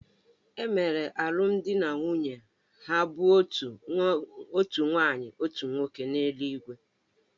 E mere alụmdi na nwunye ha bụ́ otu nwaanyị otu nwoke n’eluigwe